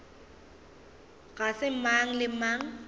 ga se mang le mang